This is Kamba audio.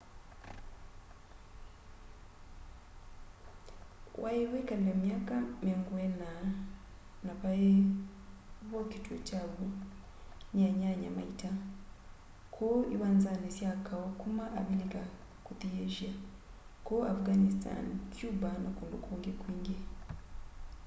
wai wikale myaka 40 na vai vokitwe kya w'o ni anyanya ma ita kuu iwanzani sya kau kuma avilika kuthi asia kuu afghanistan cuba na kundu kungi kwingi